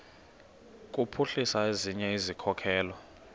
kuphuhlisa ezinye izikhokelo